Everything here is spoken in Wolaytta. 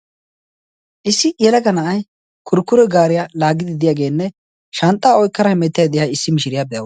issi yalaga na'ay kurkkure gaariyaa laaggididiyaageenne shanxxaa oykkara himettiyay de'iya issi mishiriyaa be'awusu.